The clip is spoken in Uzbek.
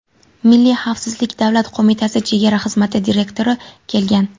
Milliy xavfsizlik davlat qo‘mitasi chegara xizmati direktori kelgan.